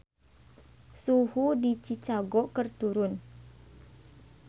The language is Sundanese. Suhu di Chicago keur turun